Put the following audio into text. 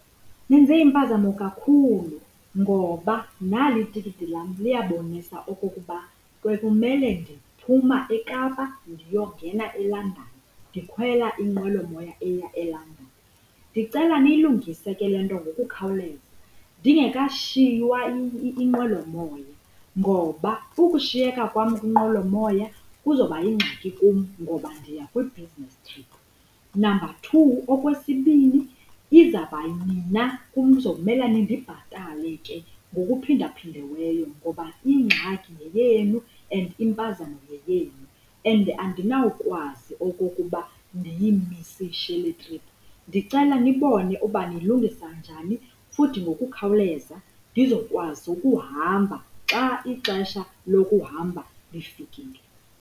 Nenze impazamo kakhulu ngoba nali itikiti lam, liyabonisa okokuba kwekumele ndiphuma eKapa ndiyongena eLondon ndikhwela inqwelomoya eya eLondon. Ndicela niyilungise ke le nto ngokukhawuleza ndingekashiywa inqwelomoya ngoba ukushiyeka kwam kwinqwelomoya kuzoba yingxaki kum ngoba ndiya kwi-business trip. Number two, okwesibini, izabana kuzomela nindibhatale ke ngokuphindaphindiweyo ngoba ingxaki yeyenu and impazamo yeyenu. And andinawukwazi okokuba ndiyimisishe le trip. Ndicela nibone uba niyilungisa njani futhi ngokukhawuleza ndizokwazi ukuhamba xa ixesha lokuhamba lifikile.